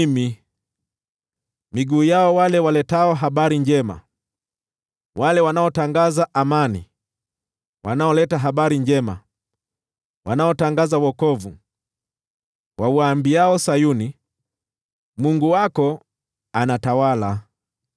Tazama jinsi miguu ya wale waletao habari njema ilivyo mizuri juu ya milima, wale wanaotangaza amani, wanaoleta habari njema, wanaotangaza wokovu, wauambiao Sayuni, “Mungu wako anatawala!”